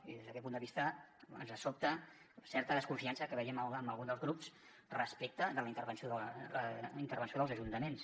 i des d’aquest punt de vista ens sobta certa desconfiança que veiem en algun dels grups respecte de la intervenció dels ajuntaments